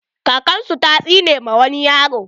Kakan su ta tsine ma wani yaro.